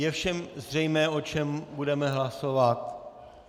Je všem zřejmé, o čem budeme hlasovat?